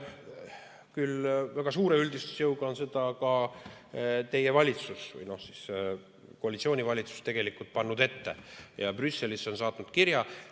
Küll väga suure üldistusjõuga on seda ka teie või koalitsiooni valitsus tegelikult ette pannud ja saatnud Brüsselisse kirja.